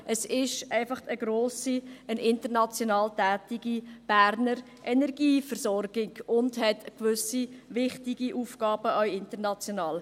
Es ist einfach eine grosse, international tätige Berner Energieversorgung, und sie hat gewisse wichtige Aufgaben, auch international.